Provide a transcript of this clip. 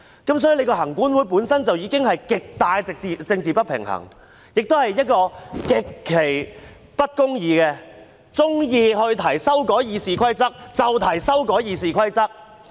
因此，行管會本身已經存在極大政治不平衡，也是極其不公義的，它喜歡提出修改《議事規則》，便提出修改《議事規則》。